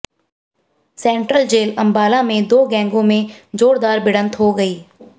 central jail Ambala में दो गैंगों में जोरदार भिड़ंत हो गई